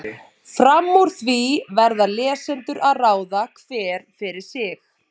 Fram úr því verða lesendur að ráða, hver fyrir sig.